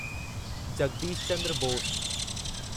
Jagdish Chandra Bose